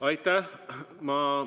Aitäh!